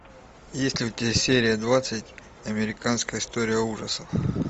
есть ли у тебя серия двадцать американская история ужасов